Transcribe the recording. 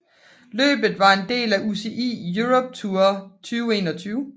Løbet var en del af UCI Europe Tour 2021